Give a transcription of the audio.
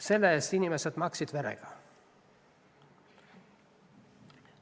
Selle eest on inimesed maksnud verega.